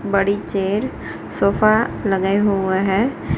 बड़ी chair sofa लगाए हुआ है।